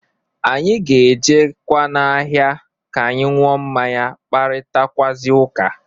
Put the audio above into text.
Anyị ga-ejekwa n'ahịa ka anyị ṅụọ mmanya kparitakwụazị ụka.